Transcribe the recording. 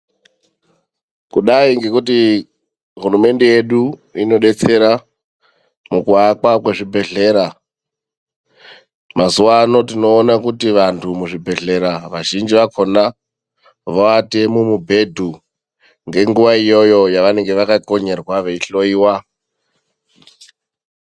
Kudai ngekuti hulumende yedu inodetsera mukuakwa kwezvibhedhlera , mazuwano tinoona kuti muzvibhedhlera vazhinji valona voate mumibhedhu ngenguwa iyoyo yavanenge vakakonyerwa veihloiwa.